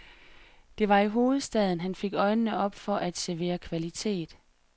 Det var i hovedstaden, han fik øjnene op for at servere kvalitet.